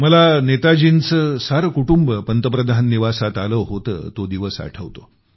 मला नेताजींचं सारं कुटुंब पंतप्रधान निवासात आले होते तो दिवस आठवतो